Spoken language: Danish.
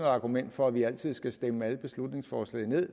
argument for at vi altid skal stemme alle beslutningsforslag ned